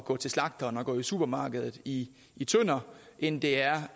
gå til slagteren og gå i supermarkedet i i tønder end det er